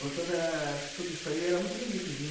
Toda, tudo isso aí, era muito bonito, viu?